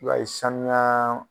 I b'a ye sanuya